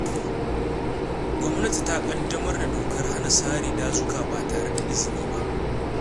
Gwamnati ta ƙaddamar da dokar hana sare dazuka ba tare da izini ba.